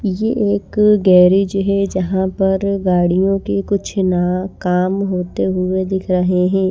ये एक गैरेज है जहां पर गाड़ियों के कुछ ना काम होते हुए दिख रहे हैं।